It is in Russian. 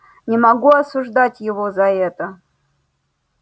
не могу осуждать его за это